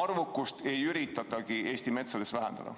arvukust ei üritatagi Eesti metsades vähendada.